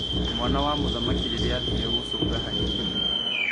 Mwana wa mũthamaki rĩrĩa athire gũcũnga hanini.